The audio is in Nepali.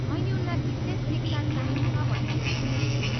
मैले उनलाई विशेष शिक्षा चाहिन्छ भन्ने सुनेकी छु।